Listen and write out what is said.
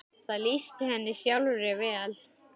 Það lýsti henni sjálfri vel.